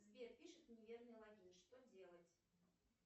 сбер пишет неверный логин что делать